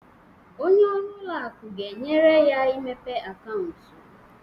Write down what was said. Onye ọrụ ụlọ akụ ga-enyere ya imepe akaụntụ.